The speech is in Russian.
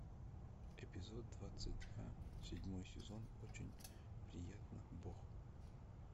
эпизод двадцать два седьмой сезон очень приятно бог